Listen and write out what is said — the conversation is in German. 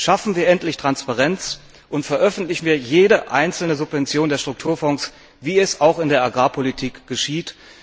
Schaffen wir endlich Transparenz, und veröffentlichen wir jede einzelne Subvention der Strukturfonds, wie es auch in der Agrarpolitik geschieht.